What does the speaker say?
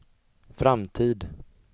framtid